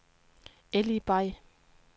Eli Bay